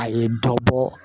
A ye dɔ bɔ